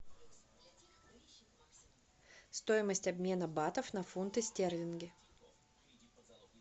стоимость обмена батов на фунты стерлинги